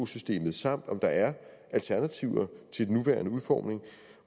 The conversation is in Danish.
systemet samt om der er alternativer til den nuværende udformning